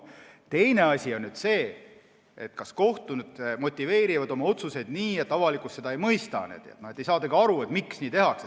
Teine asi on see, kui kohtunikud motiveerivad oma otsuseid nii, et avalikkus seda ei mõista, et ei saadagi aru, miks nii tehakse.